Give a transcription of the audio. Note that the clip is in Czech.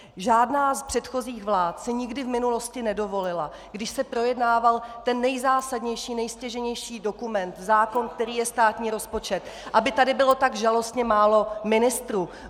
Žádná z předchozích vlád si nikdy v minulosti nedovolila, když se projednával ten nejzásadnější, nejstěžejnější dokument, zákon, kterým je státní rozpočet, aby tady bylo tak žalostně málo ministrů.